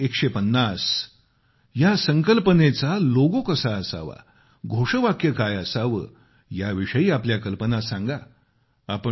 गांधी 150या संकल्पनेचा लोगो कसा असावा घोषवाक्य काय असावे याविषयी आपल्या कल्पना सांगा